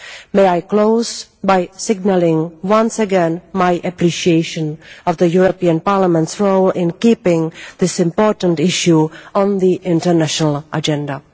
May I close by signalling once again my appreciation of the European Parliament's role in keeping this important issue on the international agenda.